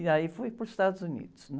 E aí fui para os Estados Unidos, né?